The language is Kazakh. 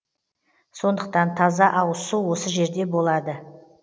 сондықтан таза ауызсу осы жерде болады